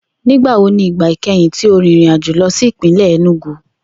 Nigbawo ni igba ikẹhin ti o rin irin ajo lọ si ipinlẹ Enugu?